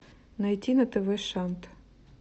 найти на тв шант